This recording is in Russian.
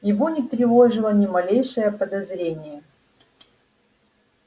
его не тревожило ни малейшее подозрение